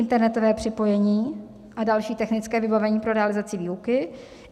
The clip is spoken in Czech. Internetové připojení a další technické vybavení pro realizaci výuky.